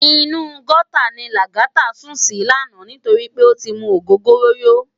Inú gòtá ni Lagata sún si làná nitóri pé ó ti mú ógógóró yó